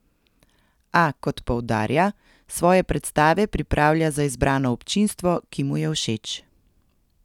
A, kot poudarja, svoje predstave pripravlja za izbrano občinstvo, ki mu je všeč.